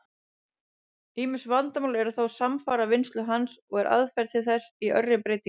Ýmis vandamál eru þó samfara vinnslu hans, og eru aðferðir til þess í örri breytingu.